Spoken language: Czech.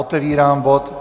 Otevírám bod